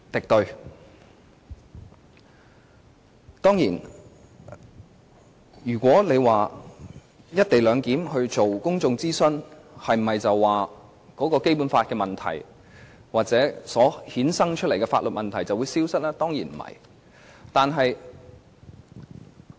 當然，有人會問，如果真的就"一地兩檢"進行公眾諮詢，那麼《基本法》的問題或方案所衍生的法律問題是否便會消失呢？